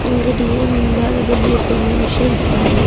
ಅಂಗಡಿಯ ಮುಂಭಾಗದಲ್ಲಿ ಒಬ್ಬ ಮನುಷ್ಯ ಇದ್ದಾನೆ.